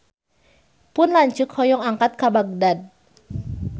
Pun lanceuk hoyong angkat ka Bagdad